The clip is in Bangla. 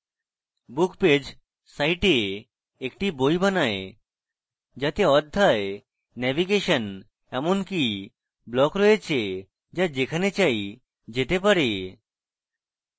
book page site একটি বই বানায় যাতে অধ্যায় নেভিগেশন এবং এমনকি block রয়েছে the যেখানে চাই যেতে পারে